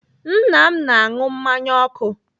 Nna m na-anụ mmanya ọkụ.